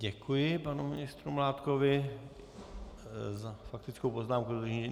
Děkuji panu ministru Mládkovi za faktickou poznámku.